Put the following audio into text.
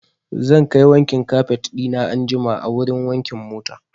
Zan kai wankin kafet ɗina anjima a wurin wankin mota.